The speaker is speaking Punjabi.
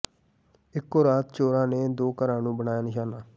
ਇੱਕੋ ਰਾਤ ਚੋਰਾਂ ਨੇ ਦੋ ਘਰਾਂ ਨੂੰ ਬਣਾਇਆ ਨਿਸ਼ਾਨਾ